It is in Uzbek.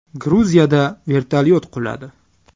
Gruziyada vertolyot quladi.